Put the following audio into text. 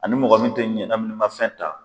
Ani mɔgɔ min tɛ ɲɛnaminimafɛn ta.